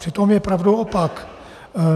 Přitom je pravdou opak.